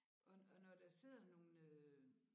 Og og når der sidder nogle øh